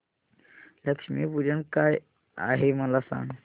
लक्ष्मी पूजन काय आहे मला सांग